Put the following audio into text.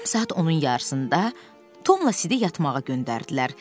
Axşam saat 10-un yarısında Tomla Sidi yatmağa göndərdilər.